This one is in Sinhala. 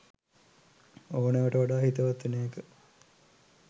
ඕනෑවට වඩා හිතවත් වෙන එක.